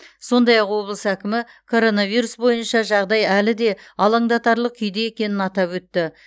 сондай ақ облыс әкімі коронавирус бойынша жағдай әлі де алаңдатарлық күйде екенін атап өтті